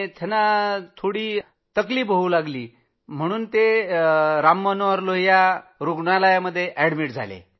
त्यांना थोडी समस्या झाली तर ते राम मनोहर लोहिया रूग्णालयात गेले